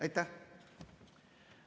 Aitäh!